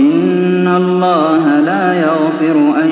إِنَّ اللَّهَ لَا يَغْفِرُ أَن